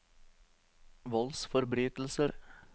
voldsforbrytelser